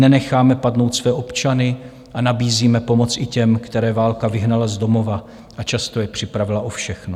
Nenecháme padnout své občany a nabízíme pomoc i těm, které válka vyhnala z domova a často je připravila o všechno.